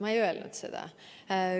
Ma ei öelnud seda.